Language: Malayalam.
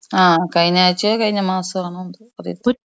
ആ കഴിഞ്ഞ ആഴ്ചയോ കഴിഞ്ഞ മാസമാണെന്തോ അറിയത്തില്ല